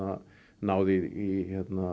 náð í